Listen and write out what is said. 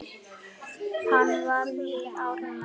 Hann var við Ármann.